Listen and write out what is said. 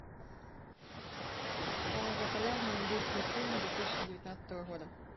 самый популярный индийский фильм две тысячи девятнадцатого года